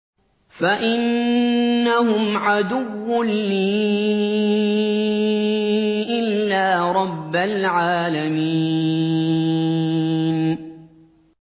فَإِنَّهُمْ عَدُوٌّ لِّي إِلَّا رَبَّ الْعَالَمِينَ